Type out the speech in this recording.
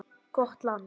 Gott land.